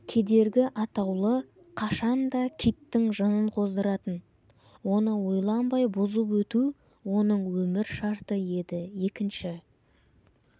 кедергі атаулы қашан да киттің жынын қоздыратын оны ойланбай бұзып өту оның өмір шарты еді екінші